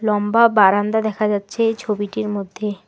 লম্বা বারান্দা দেখা যাচ্ছে এই ছবিটির মধ্যে।